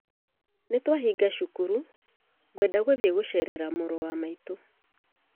Nĩ twahĩnga cukuru ngwenda gũthiĩ gũceerera mũrũ wa maitũ